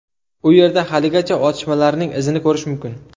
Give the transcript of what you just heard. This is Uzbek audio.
U yerda haligacha otishmalarning izini ko‘rish mumkin.